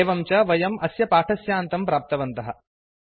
एवं च वयम् अस्य पाठस्यान्तं प्राप्तवन्तः